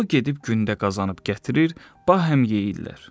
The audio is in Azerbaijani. O gedib gündə qazanıb gətirir, bahəm yeyirlər.